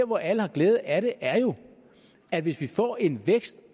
hvor alle har glæde af det er jo at hvis vi får en vækst